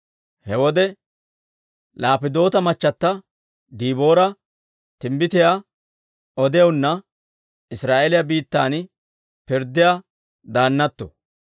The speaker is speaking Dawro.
He wode Laappidoota machchata Diboora, timbbitiyaa odiyaanna Israa'eeliyaa biittan pirddiyaa daannatto.